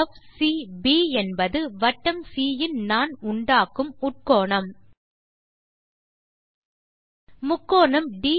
∠FCB என்பது வட்டம் சி யின் நாண் உண்டாக்கும் உட்கோணம்